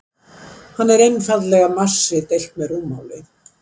Hann er einfaldlega massi deilt með rúmmáli.